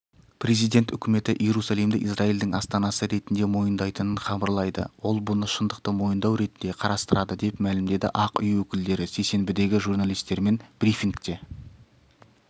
президент үкіметі иерусалимді израильдің астанасы ретіндемойындайтынын хабарлайды ол бұны шындықты мойындау ретінде қарастырады деп мәлімдеді ақ үй өкілдері сейсенбідегі журналистермен брифингте